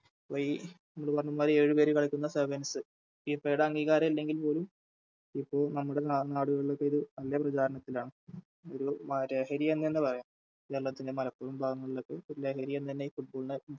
ഈ ഏഴ് പേര് കളിക്കുന്ന SevensFIFA യുടെ അംഗീകാരം ഇല്ലെങ്കിൽപ്പോലും ഇപ്പോൾ നമ്മുടെ നാ നാടുകളിലൊക്കെയൊരു നല്ല പ്രചാരണത്തിലാണ് ഒര് മ ലഹരിയെന്നു തന്നെ പറയാം കേരളത്തിൻറെ മലപ്പുറം ഭാഗങ്ങളിലൊക്കെ പ്പോ ഒരു ലഹരിയെന്നുതന്നെ Football നെ